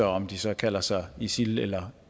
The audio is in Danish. om de så kalder sig isil eller